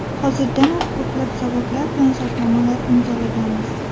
Hozirdanoq ko‘plab zavodlar bilan shartnomalar imzolaganmiz.